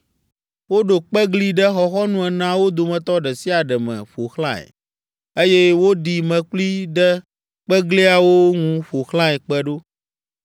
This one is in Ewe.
Woɖo kpegli ɖe xɔxɔnu eneawo dometɔ ɖe sia ɖe me ƒo xlãe, eye woɖi mlekpui ɖe kpegliawo ŋu ƒo xlãe kpe ɖo.